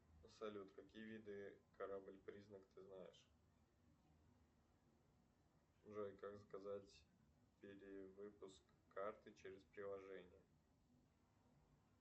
салют какие виды корабль признак ты знаешь джой как заказать перевыпуск карты через приложение